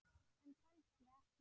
En kannski ekki.